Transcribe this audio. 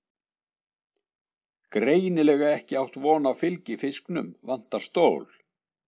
Greinilega ekki átt von á fylgifisknum, vantar stól.